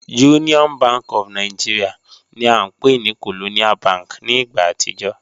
Union Bank of Nigeria ni a npe ni Colonial Bank ni igba atijọ